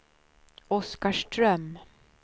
Oskarström